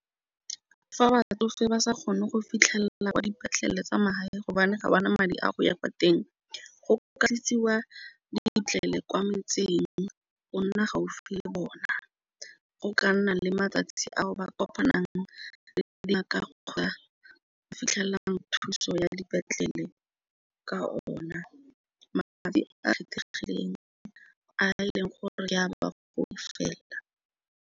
Fa ba batsofe ba sa kgone go fitlhelela dipetlele tsa mahala gobane ga ba na madi a go ya kwa teng go ka etsiwa dipetlele kwa metseng go nna gaufi le bona. Go ka nna le matsatsi a ba kopanang re tla fitlhelang thuso ya dipetlele ka ona madi a kgethegileng a e leng gore ya ba ba gore fela.